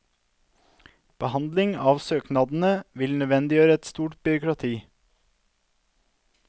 Behandlingen av søknadene vil nødvendiggjøre et stort byråkrati.